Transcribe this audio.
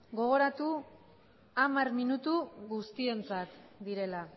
gogoratu hamar minutu guztiontzat direla